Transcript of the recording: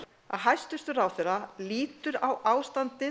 að hæstvirtur ráðherra lítur á ástandið